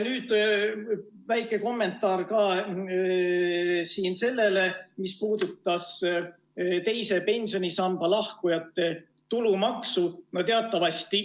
Väike kommentaar ka selle kohta, mis puudutas teisest pensionisambast lahkujate tulumaksu.